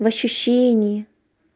в ощущении